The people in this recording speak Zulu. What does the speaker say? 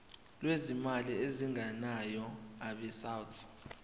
lwezimali ezingenayo abesouth